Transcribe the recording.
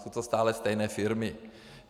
Jsou to stále stejné firmy.